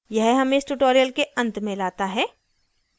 यह हमें इस tutorial के अंत में लाता है